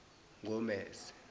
gomese